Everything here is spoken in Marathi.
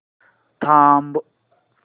थांब